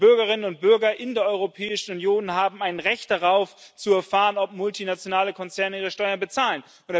Und die Bürgerinnen und Bürger in der Europäischen Union haben ein Recht darauf, zu erfahren, ob multinationale Konzerne ihre Steuern bezahlen.